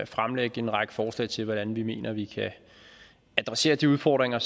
fremlægge en række forslag til hvordan vi mener at vi kan adressere de udfordringer